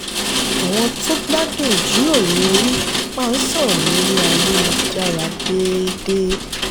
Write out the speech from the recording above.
àwọn tó gbádùn ìjíròrò orí máa ń sọ̀rọ̀ lórí ayélujára déédéé.